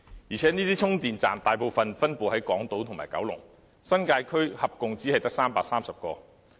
而且這些充電站大部分分布在港島和九龍，新界區合共只有330個。